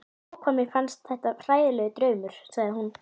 Ó, hvað mér finnst þetta hræðilegur draumur, sagði hún